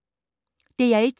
DR1